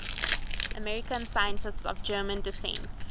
american scientists of german descent